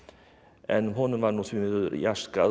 en honum var nú því miður